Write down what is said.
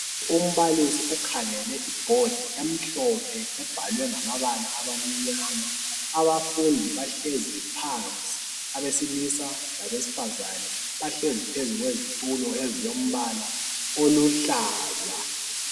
umbalisi ukhangele ibhodi emhlophe ebhalwe ngamabala abamnyama abafundi bahlezi phansi abesilisa labesifazana bahlezi phezu kwezitulo ezilombala oluhlaza